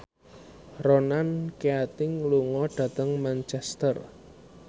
Ronan Keating lunga dhateng Manchester